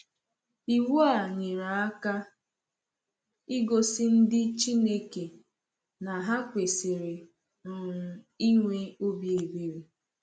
Iwu a nyere aka igosi ndị Chineke na ha kwesịrị um inwe obi ebere.